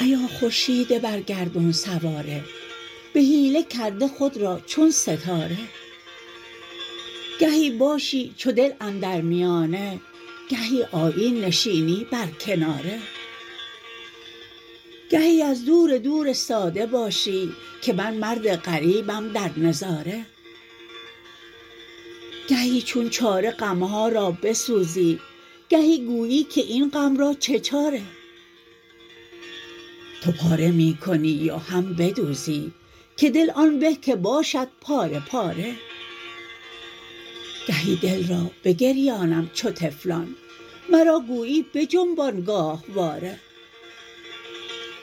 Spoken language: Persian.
ایا خورشید بر گردون سواره به حیله کرده خود را چون ستاره گهی باشی چو دل اندر میانه گهی آیی نشینی بر کناره گهی از دور دور استاده باشی که من مرد غریبم در نظاره گهی چون چاره غم ها را بسوزی گهی گویی که این غم را چه چاره تو پاره می کنی و هم بدوزی که دل آن به که باشد پاره پاره گهی دل را بگریانم چو طفلان مرا گویی بجنبان گاهواره